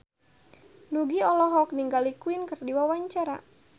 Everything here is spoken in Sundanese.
Nugie olohok ningali Queen keur diwawancara